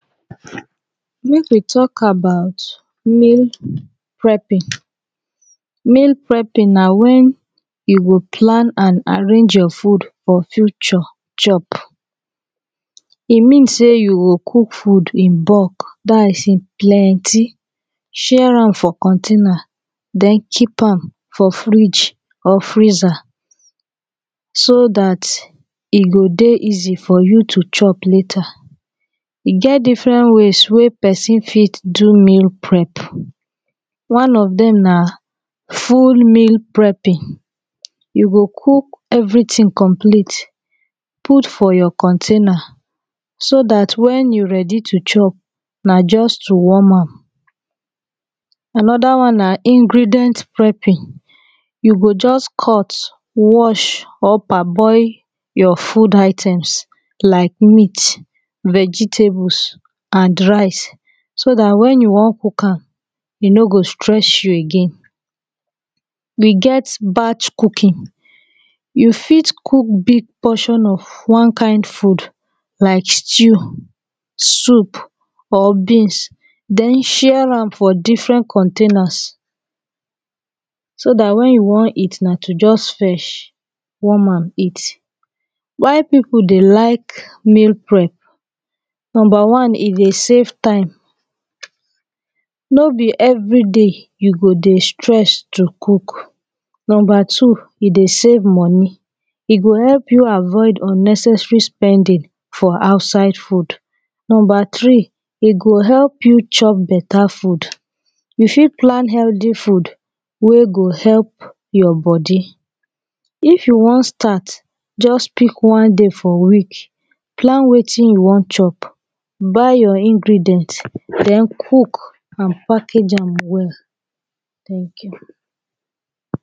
Mek we talk about meal prepping meal prepping na wen you go plan an arrange your food for future chop e mean say you go cook food in bulk dat is e plenty share am for container then keep am for fridge or freezer so dat e go dey easy for you to chop later e get different ways wey person fit do meal prep one of dem na full meal prepping you go cook everyting complete put for your container so dat wen you ready to chop na just to warm am anoda one na ingredient prepping you go just cut wash or parboil your food items like meat vegetables an rice so dat wen you wan cook am e no go stress you again we get batch cooking you fit cook big portion of one kind food like stew soup or beans then share am for different containers so dat wen you wan eat na to just fetch warm am eat why people dey like mel prep number one e dey save time no be everyday you go dey stress to cook number two e dey safe money e go help you avoid unnecessary spending for outside food number three e go help you chop beta food you fit plan heaty food wey go help your body if you wan start just pick one day for week plan wetin you wan chop buy your ingredients den cook an package am well tank you